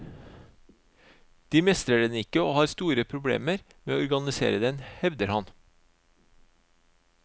De mestrer den ikke og har store problemer med å organisere den, hevder han.